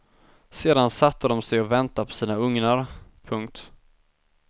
Sen satte de sig att vänta på sina ugnar. punkt